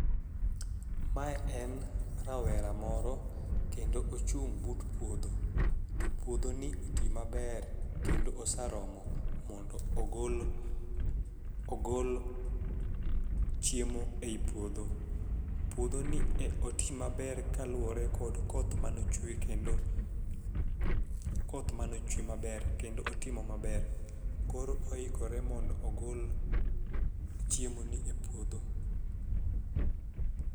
Mae en rawera moro kendo ochung' but puodho, to puodho ni otii maber kendo osaromo mondo ogol ogol chiemo ei puodho. Puodho ni e oti maber kaluwore kod koth manochwe kendo koth manochwe maber kendo otimo maber. Koro ohikore mondo ogol chiemo ni e puodho.